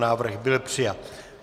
Návrh byl přijat.